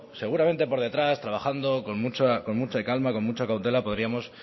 seguramente por detrás trabajando con mucha calma con mucha cautela podríamos